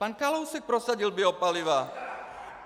Pan Kalousek prosadil biopaliva!